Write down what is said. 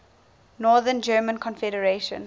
north german confederation